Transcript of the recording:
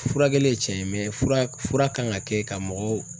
Furakɛli ye tiɲɛ ye fura kan ka kɛ ka mɔgɔw